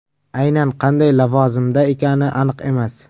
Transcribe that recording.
Aynan qanday lavozimda ekani aniq emas.